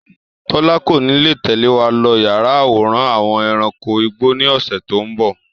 Tọ́lá kò ní lè tẹ̀lé wá lọ yà àwòrán àwọn ẹranko igbó ni ọ̀sẹ̀ tòun bọ̀